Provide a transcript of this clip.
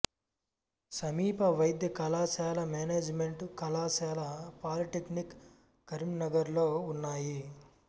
సమీప వైద్య కళాశాల మేనేజిమెంటు కళాశాల పాలీటెక్నిక్ కరీంనగర్లో ఉన్నాయి